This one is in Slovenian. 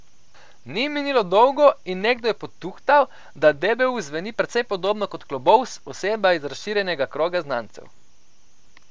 Ni minilo dolgo in nekdo je potuhtal, da debeus zveni precej podobno kot Klobovs, oseba iz razširjenega kroga znancev.